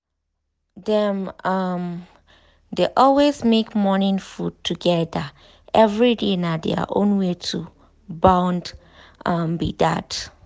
dem um dey always make morning food together every day na their own way to um bond um be that.